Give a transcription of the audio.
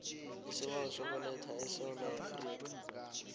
isibawo sokuletha esewula